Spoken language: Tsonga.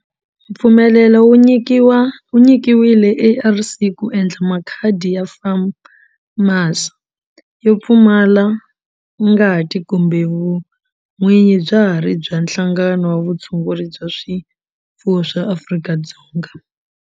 Mpfumelelo wu nyikiwile ARC ku endla makhadi ya FAMACHA yo pfumala ngati kambe vun'winyi bya ha ri bya Nhlangano wa Vutshunguri bya swifuwo wa Afrika-Dzonga.